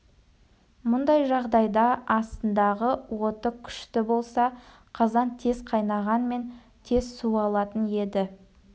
мұндай жағдайда астындағы оты күшті болса қазан тез қайнағанмен тез суалатын еді